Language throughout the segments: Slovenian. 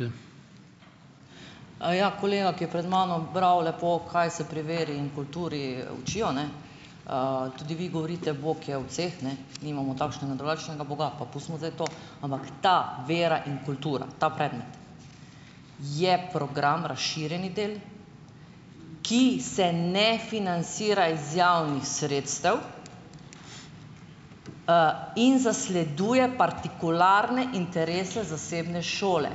Ja, kolega, ki je pred mano bral lepo, kaj se pri veri in kulturi učijo, ne, tudi vi govorite: "Bog je od vseh," ne, nimamo takšnega in drugačnega boga, pa pustimo zdaj to. Ampak ta vera in kultura, ta predmet je program razširjeni del, ki se ne financira iz javnih sredstev, in zasleduje partikularne interese zasebne šole.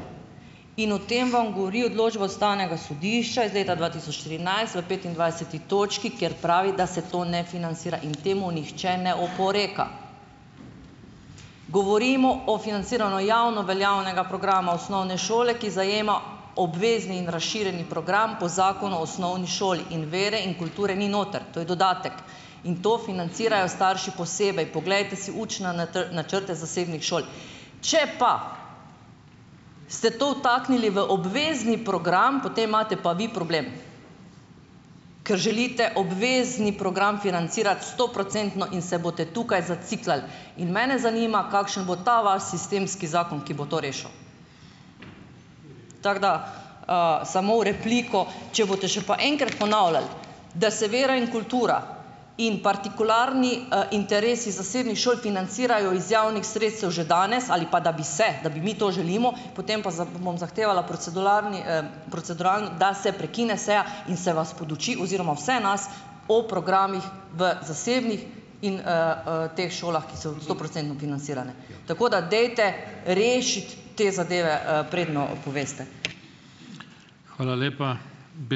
In o tem vam govori odločba ustavnega sodišča iz leta dva tisoč trinajst v petindvajseti točki, kjer pravi, da se to ne financira, in temu nihče ne oporeka. Govorimo o financiranju javno veljavnega programa osnovne šole, ki zajema obvezni in razširjeni program po Zakonu o osnovni šoli, in vere in kulture ni noter, to je dodatek, in to financirajo starši posebej, poglejte si učne načrte zasebnih šol. Če pa ste to vtaknili v obvezni program, potem imate pa vi problem, ker želite obvezni program financirati stoprocentno in se boste tukaj "zaciklali". In mene zanima, kakšen bo ta vaš sistemski zakon, ki bo to rešil. Tako da. samo v repliko. Če boste še pa enkrat ponavljali, da se vera in kultura in partikularni, interesi zasebnih šol financirajo iz javnih sredstev že danes ali pa, da bi se, da bi mi to želimo, potem pa bom zahtevala proceduralni, da se prekine seja in se vas poduči oziroma vse nas o programih v zasebnih in, teh šolah, ki so stoprocentno financirane. Tako da dajte rešiti te zadeve, preden, poveste.